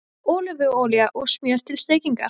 Ólífuolía og smjör til steikingar